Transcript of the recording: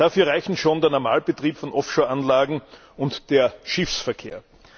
Dafür reichen schon der Normalbetrieb von Offshore Anlagen und der Schiffsverkehr.